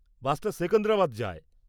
বাসটা সেকেন্দ্রাবাদ যায়।